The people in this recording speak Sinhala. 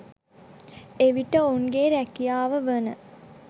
එවිට ඔවුන්ගේ රැකියාව වන